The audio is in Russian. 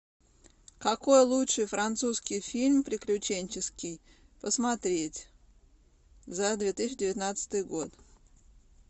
какой лучший французский фильм приключенческий посмотреть за две тысячи девятнадцатый год